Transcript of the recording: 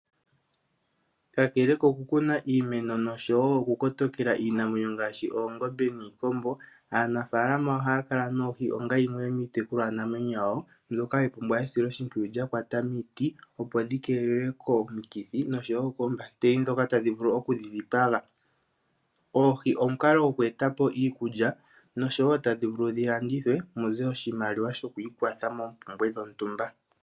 Kakele koku kuna iimeno nosho wo oku kotokela iinamwenyo ngaashi oongombe niikombo, aanafaalama ohaya kala nOohi onga yimwe yomiitekulwa namwenyo yawo mbyoka hayi pumbwa esiloshimpwiyu lya kwata miiti opo dhi kelelwe komithi noshowo koombakiteli dhoka tadhi vulu oku dhi dhipaga. Oohi omukalo goku etapo iikulya, nosho wo tadhi vulu dhi landithwe muze oshimaliwa shoku ikwatha moompumbwe dhontumba.